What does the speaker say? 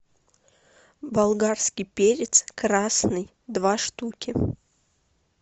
болгарский перец красный два штуки